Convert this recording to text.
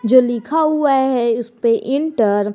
जो लिखा हुआ है इस पे इंटर ।